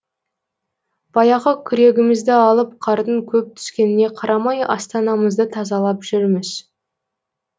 баяғы күрегімізді алып қардың көп түскеніне қарамай астанамызды тазалап жүрміз